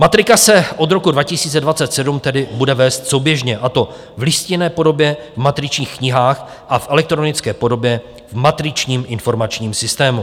Matrika se od roku 2027 tedy bude vést souběžně, a to v listinné podobě v matričních knihách a v elektronické podobě v matričním informačním systému.